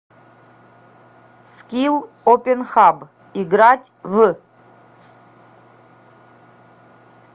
скилл опенхаб играть в